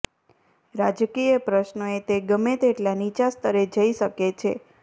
રાજકીય પ્રશ્નોએ તે ગમે તેટલા નીચા સ્તરે જઈ શકે છે